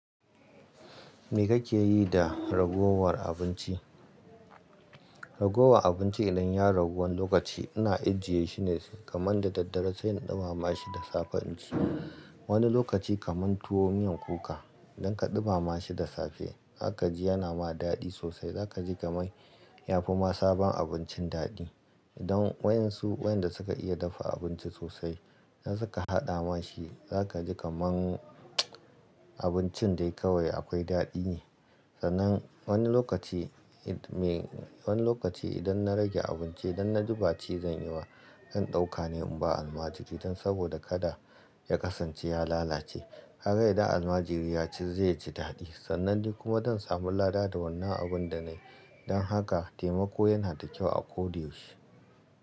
Me kake yi da ragowar abinci? Ragowa abinci idan ya ragu wani lokaci, ina ajiyeshi ne kamar da daddare sai in ɗimama shi da safe. Inci wani lokaci kamar tuwo miyan kuka idan ka ɗimama shi da safe, zaka ji yana ma daɗi sosai. Zaka ji kamar yafi ma sabon abincin daɗi. Idan wayan su, wayanda suka iya dafa abinci sosai, idan suka haɗa ma shi, zaka ji kamar abincin dai kawai akwai daɗi ne. Sannan wani lokaci, me wani lokaci idan na rage abinci, idan na duba ci zan yi wa ɗan ɗaukane in ba almajiri. Dan saboda kada ya kasance, ya lalace. Kaga idan almajiri ya ci zai ji daɗi. Sannan ni kuma zan samu lada da wannan abun da na yi. Don haka taimako yana da kyau a koda yaushe.